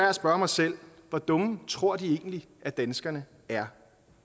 at spørge mig selv hvor dumme tror de egentlig at danskerne er